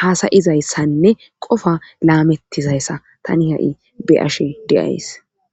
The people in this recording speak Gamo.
hasayizayssanne qofa laamettizayssa tani ha'i beyashe de'as.